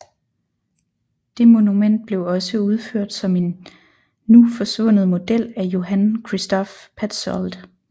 Det monument blev også udført som en nu forsvundet model af Johann Christoph Petzold